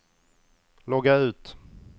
logga ut